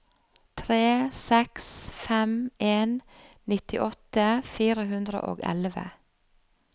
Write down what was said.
tre seks fem en nittiåtte fire hundre og elleve